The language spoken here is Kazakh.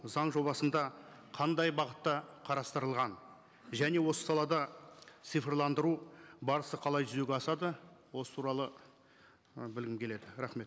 заң жобасында қандай бағытта қарастырылған және осы салада цифрландыру барысы қалай жүзеге асады осы туралы і білгім келеді рахмет